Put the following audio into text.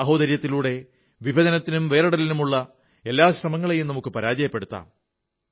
സഹോദര്യത്തിലൂടെ വിഭജനത്തിനും വേറിടലിനുമുള്ള എല്ലാ ശ്രമങ്ങളെയും പരാജയപ്പെടുത്താം